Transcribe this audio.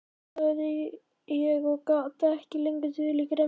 sagði ég og gat ekki lengur dulið gremjuna.